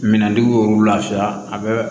Minɛntigiw y'olu lafiya a bɛ